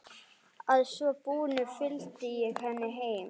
Að svo búnu fylgdi ég henni heim.